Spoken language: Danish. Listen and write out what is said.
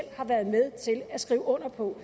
har været med til at skrive under på